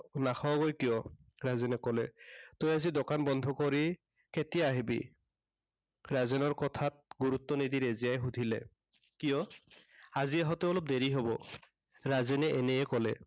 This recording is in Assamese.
নাখাৱগৈ কিয়? তই আজি দোকান বন্ধ কৰি কেতিয়া আহিবি? ৰাজেনৰ কথাত গুৰুত্ব নিদি ৰেজিয়াই সুধিলে। কিয়? আজি আহোতে অলপ দেৰি হব। ৰাজেনে এনেয়ে কলে।